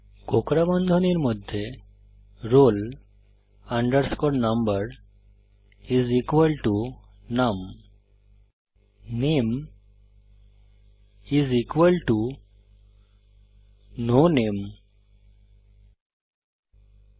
কোঁকড়া বন্ধনীর মধ্যে roll number is equal to num নামে ইস ইকুয়াল টু নো নামে